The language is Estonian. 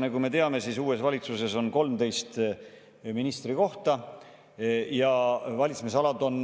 Nagu me teame, uues valitsuses on 13 ministrikohta ja valitsemisalad on